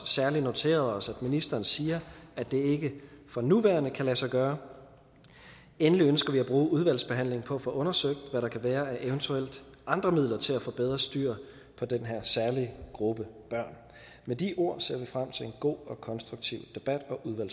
særlig noteret os at ministeren siger at det ikke for nuværende kan lade sig gøre endelig ønsker vi at bruge udvalgsbehandlingen på at få undersøgt hvad der kan være af eventuelle andre midler til at få bedre styr på den her særlige gruppe børn med de ord ser vi frem til en god og konstruktiv debat